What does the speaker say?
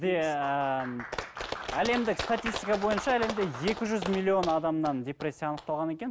ы әлемдік статистика бойынша енді екі жүз миллион адамнан депрессия анықталған екен